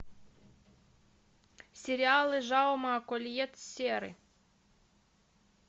сериалы жауме кольет серры